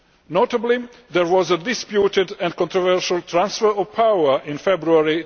Notably, there was a disputed and controversial transfer of power' in February